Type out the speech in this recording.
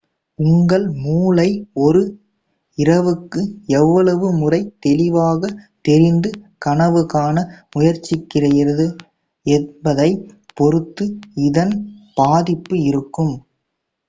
உங்கள் மூளை ஒரு இரவுக்கு எவ்வளவு முறை தெளிவாக தெரிந்து கனவு காண முயற்சிக்கிறது என்பதைப் பொறுத்து இதன் பாதிப்பு இருக்கும்